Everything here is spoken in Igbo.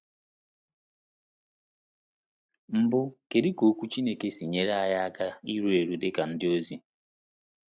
Mbụ, kedu ka Okwu Chineke si enyere anyị aka iru eru dị ka ndị ozi?